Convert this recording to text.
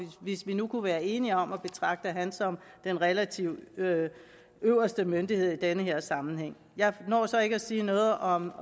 hvis vi nu kunne være enige om at betragte ham som den relativt øverste myndighed i denne her sammenhæng jeg når så ikke at sige noget om